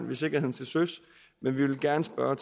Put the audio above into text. ved sikkerheden til søs men vi vil gerne spørge